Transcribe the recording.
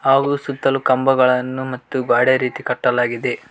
ಹಾಗೂ ಸುತ್ತಲೂ ಕಂಬಗಳನ್ನು ಮತ್ತು ಗ್ವಾಡೆ ರೀತಿ ಕಟ್ಟಲಾಗಿದೆ.